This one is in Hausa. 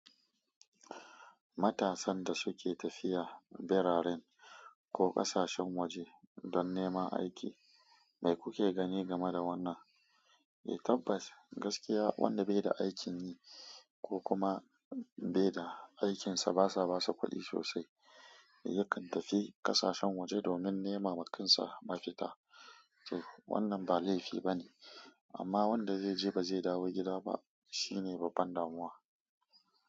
Matasan da suke tafiya birarin ko ƙasashen waje don neman aiki, me kuke gani game da wannan? Eh tabbas, gaskiya wanda bai da aikin yi ko kuma bai da aikinsa basa basa kuɗi sosai, yakan tafi ƙasashen waje domin nema ma kansa mafita. Wannan ba laifi bane amma wanda zai je ba zai dawo gida ba shine babban damuwa.